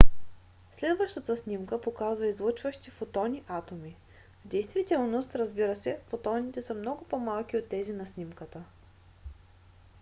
следващата снимка показва излъчващи фотони атоми. в действителност разбира се фотоните са много по - малки от тези на снимката